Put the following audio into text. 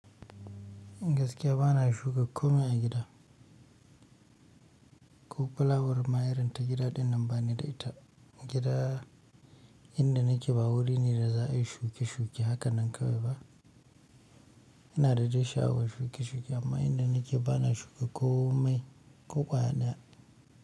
Gaskiya ba na shuka komai a gida. Ko fulawarma, irin ta gida ɗinnan ba ni da ita. Gida inda nake ba wurin ne da za a yi shuke-shuke. Haka nan kawai ba. Inada de asha'awar shuke-shuke amma inda nake ba na shuka komai ko ƙwaya daya.